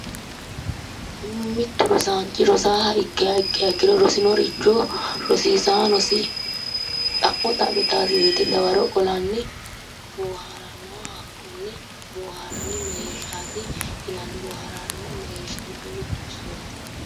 Mittu rosaanchi rosaaha ikkiha ikkiro rosinoricho rosiisaanosi xa'mo xa'mitannosi woyiite dawaro qolanni bohaaraannoha hakkone bohaarranni mereershaati yinanni boohaarranni mereershi giddo mittu isooti